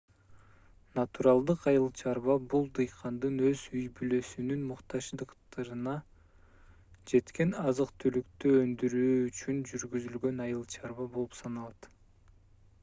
натуралдык айыл чарба бул дыйкандын өз үй-бүлөсүнүн муктаждыктарына жеткен азык-түлүктү өндүрүү үчүн жүргүзүлгөн айыл-чарба болуп саналат